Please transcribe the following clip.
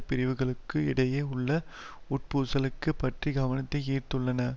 பிரிவுகளுக்கு இடையே உள்ள உட்பூசல்கள் பற்றி கவனத்தை ஈர்த்துள்ளன